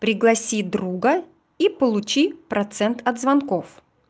пригласи друга и получи процент от звонков